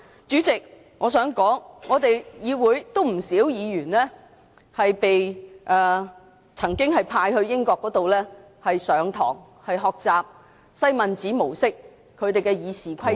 主席，我想說，立法會有不少議員曾經被派到英國學習西敏寺模式的《議事規則》......